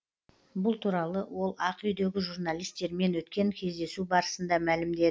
бұл туралы ол ақ үйдегі журналистермен өткен кездесу барысында мәлімдеді